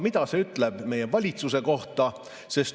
Mida see ütleb meie valitsuse kohta?